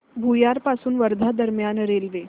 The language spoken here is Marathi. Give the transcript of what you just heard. भुयार पासून वर्धा दरम्यान रेल्वे